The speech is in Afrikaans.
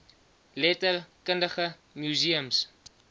letter kundige museums